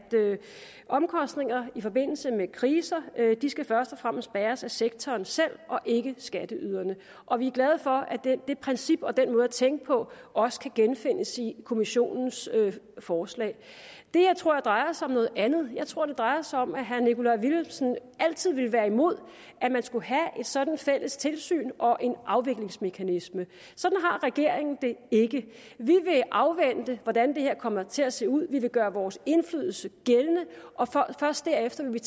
omkostninger i forbindelse med kriser først og fremmest skal bæres af sektoren selv og ikke skatteyderne og vi er glade for at det princip og den måde at tænke på også kan genfindes i kommissionens forslag det her tror jeg drejer sig om noget andet jeg tror det drejer sig om at herre nikolaj villumsen altid ville være imod at man skulle have et sådant fælles tilsyn og en afviklingsmekanisme sådan har regeringen det ikke vi vil afvente hvordan det her kommer til at se ud vi vil gøre vores indflydelse gældende og først derefter vil vi